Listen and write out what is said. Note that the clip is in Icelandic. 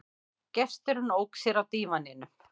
Gesturinn ók sér á dívaninum.